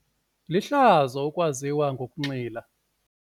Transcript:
Lihlazo ukwaziwa ngokunxila.